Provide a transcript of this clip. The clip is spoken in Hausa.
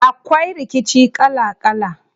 Akwai rikici kala kala.